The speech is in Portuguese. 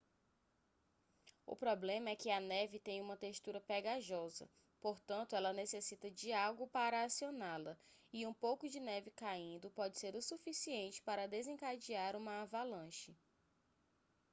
o problema é que a neve tem uma textura ​​pegajosa portanto ela necessita de algo para acioná-la e um pouco de neve caindo pode ser o suficiente para desencadear uma avalanche